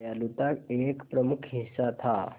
दयालुता एक प्रमुख हिस्सा था